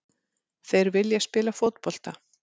Þeir vilja spila fótbolta.